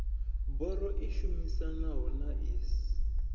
biro i shumisanaho na iss